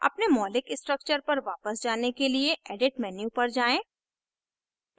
अपने मौलिक structures पर वापस जाने के लिए edit menu पर जाएँ